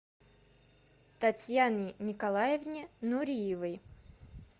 татьяне николаевне нуриевой